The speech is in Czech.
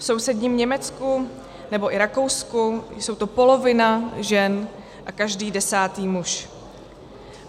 V sousedním Německu nebo i Rakousku jsou to polovina žen a každý desátý muž.